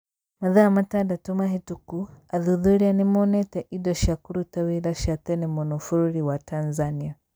Mathaa matandatũ mahĩtũku athuthuria nĩ monete indo cia kũruta wĩra cia tene mũno bũrũri wa Tanzania.